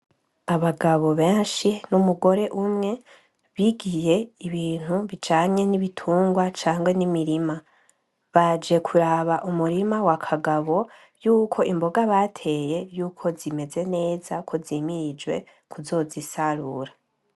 Abagabo benshi n'umugore umwe bigiye ibintu bijanye n'ibitungwa canke n'imirima, baje kuraba umurima wa Kagabo yuko imboga bateye yuko zimeze neza, ko zimirijwe kuzozisarura.